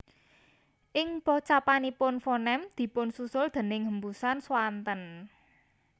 Ing pocapanipun fonem dipunsusul déning hembusan swanten